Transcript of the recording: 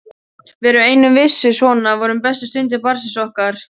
Við ein vissum að svona voru bestu stundir barnsins okkar.